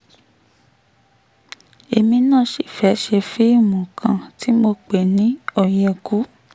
èmi náà sì fẹ́ẹ́ ṣe fíìmù kan tí mo pè ní òyekù